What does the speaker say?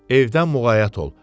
Evdən müğayət ol.